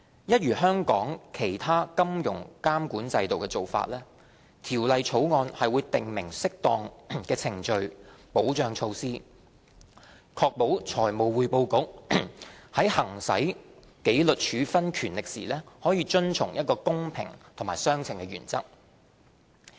一如香港其他金融監管制度的做法，《條例草案》會訂明適當的程序保障措施，確保財務匯報局在行使紀律處分權力時遵從公平及相稱原則。